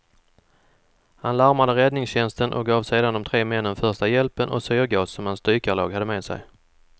Han larmade räddningstjänsten och gav sedan de tre männen första hjälpen och syrgas som hans dykarlag hade med sig.